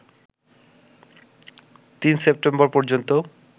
৩ September পর্যন্ত